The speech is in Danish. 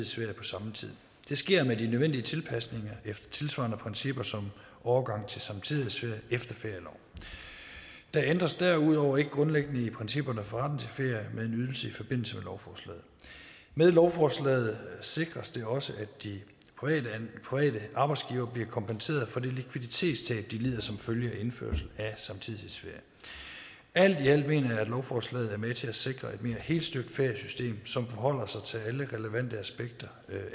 det sker med de nødvendige tilpasninger efter tilsvarende principper som overgang til samtidighedsferie efter ferieloven der ændres derudover ikke grundlæggende i principperne for retten til ferie med en ydelse i forbindelse med lovforslaget med lovforslaget sikres det også at de private arbejdsgivere bliver kompenseret for det likviditetstab de lider som følge af indførelse af samtidighedsferie alt i alt mener jeg at lovforslaget er med til at sikre et mere helstøbt feriesystem som forholder sig til alle relevante aspekter